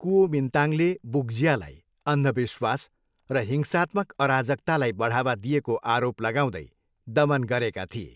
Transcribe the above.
कुओमिन्ताङले वुक्जियालाई अन्धविश्वास र हिंसात्मक अराजकतालाई बढावा दिएको आरोप लगाउँदै दमन गरेका थिए।